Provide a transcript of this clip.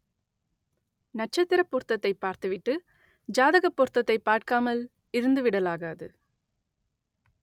நட்சத்திரப் பொருத்தத்தைப் பார்த்துவிட்டு ஜாதகப் பொருத்தத்தைப் பார்க்காமல் இருந்துவிடலாகாது